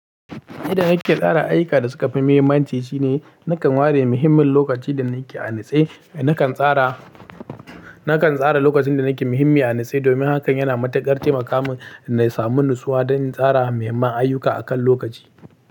Inda nake tsara ayyuka da suka fi mahimmanci, shine nakan ware muhimmin lokaci da nake a nitse. Nakan tsara, nakan tsara lokacin da nake muhimmi a nitse domin hakan yana matukar tema kamun na samu nutsuwa don in tsara mahimman ayyuka akan lokaci.